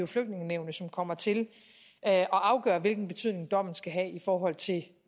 flygtningenævnet som kommer til at afgøre hvilken betydning dommen skal have i forhold til